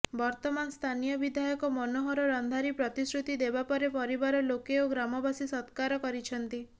ବର୍ତ୍ତମାନ ସ୍ଥାନୀୟ ବିଧାୟକ ମନୋହର ରନ୍ଧାରି ପ୍ରତିଶ୍ରୁତି ଦେବା ପରେ ପରିବାର ଲୋକେ ଓ ଗ୍ରାମବାସୀ ସତ୍କାର କରିଛନ୍ତି